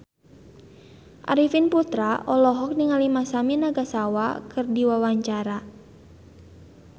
Arifin Putra olohok ningali Masami Nagasawa keur diwawancara